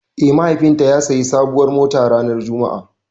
Eh mahaifin ta ya siya sabuwar mota ranar Juma'a